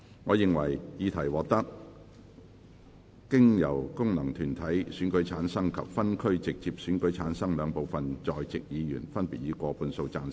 我認為議題獲得經由功能團體選舉產生及分區直接選舉產生的兩部分在席議員，分別以過半數贊成。